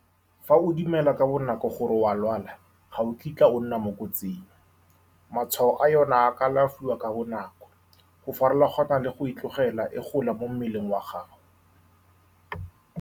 Fa o dumela ka bonako gore o lwala, ga o kitla o nna mo kotsing. Matshwao a yone a ka alafiwa ka bonako, go farolona le go tlogela e gola mo mmeleng wa gago.